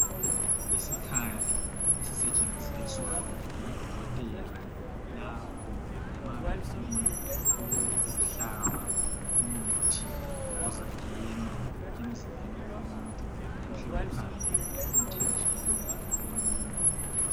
Isikhali esisetshenziswa ngodokotela lapho ma befuna ukuhlaba umuthi uzangena emzimbeni womuntuuhle uhambe emthanjini womuntu.